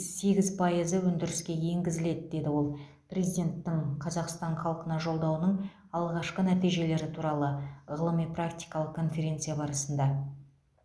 сегіз пайызы өндіріске енгізіледі деді ол президенттің қазақстан халқына жолдауының алғашқы нәтижелері туралы ғылыми практикалық конференция барысында